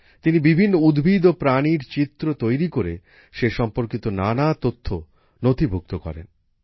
তিনি বিভিন্ন উদ্ভিদ ও প্রাণীর চিত্র তৈরি করে সে সম্পর্কিত নানা তথ্য নথিভুক্ত করেন